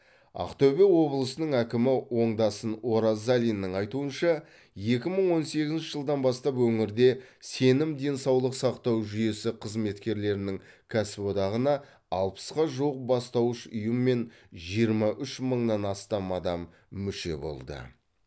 ақтөбе облысының әкімі оңдасын оразалиннің айтуынша екі мың он сегізінші жылдан бастап өңірде сенім денсаулық сақтау жүйесі қызметкерлерінің кәсіподағына алпысқа жуық бастауыш ұйым мен жиырма үш мыңнан астам адам мүше болды